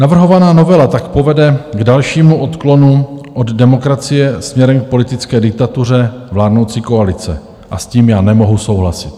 Navrhovaná novela tak povede k dalšímu odklonu od demokracie směrem k politické diktatuře vládnoucí koalice a s tím já nemohu souhlasit.